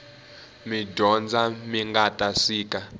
midyondza mingata sika